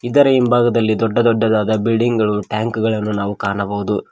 ಇದರ ಹಿಂಭಾಗದಲ್ಲಿ ದೊಡ್ಡ ದೊಡ್ಡದಾದ ಬಿಲ್ಡಿಂಗ್ ಗಳು ಟ್ಯಾಂಕ್ ಗಳನು ನಾವು ಕಾಣಬಹುದು.